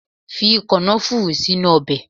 Fi kànáfùrù sínú Ọbè